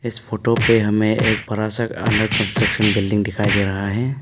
इस फोटो पे हमें एक बड़ा सा अंडर कंस्ट्रक्शन बिल्डिंग दिखाई दे रहा है।